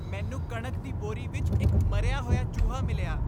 ਮੈਨੂੰ ਕਣਕ ਦੀ ਬੋਰੀ ਵਿੱਚ ਇੱਕ ਮਰਿਆ ਹੋਇਆ ਚੂਹਾ ਮਿਲਿਆ।